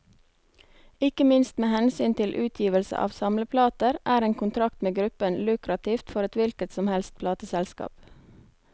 Ikke minst med hensyn til utgivelse av samleplater, er en kontrakt med gruppen lukrativt for et hvilket som helst plateselskap.